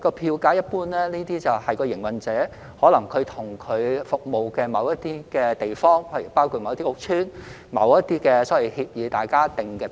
票價一般由營辦商與其服務的某些地方，包括某些屋邨，或基於某些協議而訂定的。